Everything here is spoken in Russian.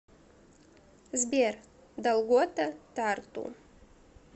сбер долгота тарту